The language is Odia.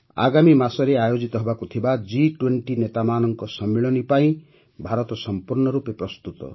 ଆଗାମୀ ମାସରେ ଆୟୋଜିତ ହେବାକୁ ଥିବା ଜି୨୦ ନେତାମାନଙ୍କ ସମ୍ମିଳନୀ ପାଇଁ ଭାରତ ସମ୍ପୂର୍ଣ୍ଣ ରୂପେ ପ୍ରସ୍ତୁତ